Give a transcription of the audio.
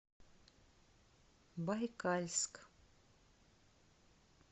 байкальск